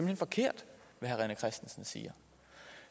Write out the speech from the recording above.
hen forkert hvad herre rené christensen siger